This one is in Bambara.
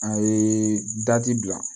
A ye bila